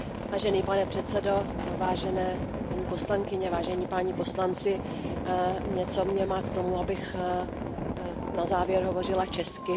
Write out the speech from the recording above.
Vážený pane předsedající, vážené paní poslankyně, vážení páni poslanci, něco mě má k tomu, abych na závěr hovořila česky.